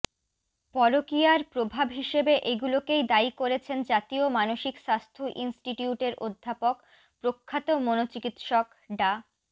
পরকীয়ার প্রভাব হিসেবে এগুলোকেই দায়ী করেছেন জাতীয় মানসিক স্বাস্থ্য ইনস্টিটিউটের অধ্যাপক প্রখ্যাত মনোচিকিৎসক ডা